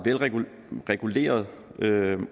velreguleret